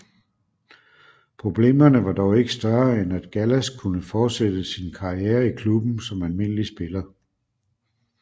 Problemerne var dog ikke større end at Gallas kunne fortsætte sin karriere i klubben som almindelig spiller